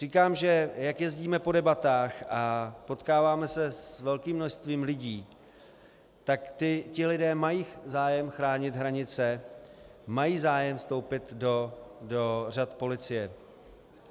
Říkám, že jak jezdíme po debatách a potkáváme se s velkým množstvím lidí, tak ti lidé mají zájem chránit hranice, mají zájem vstoupit do řad policie.